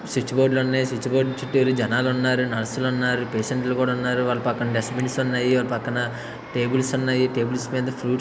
Switch బొడ్లు ఉన్నాయి. Switch బొడ్లు చుట్టు జనాలు ఉన్నారు నర్సులు ఉన్నారు పేటెంట్లు ఉన్నారు వాల్ల పక్కన డెస్టు బిన్ ఉన్నాయి. వాల్ల పక్కన టేబుల్స్ ఉన్నాయి టేబుల్స పైన ఫూట్స్ ఉన్నాయి.